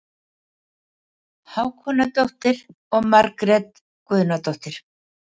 Hákonardóttir og Margrét Guðnadóttir.